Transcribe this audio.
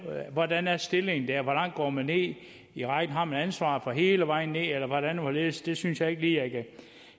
hvordan er stillingen der hvor langt går man ned i rækken har man et ansvar hele vejen ned eller hvordan og hvorledes det synes jeg ikke lige at